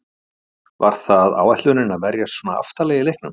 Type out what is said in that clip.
Var það áætlunin að verjast svona aftarlega í leiknum?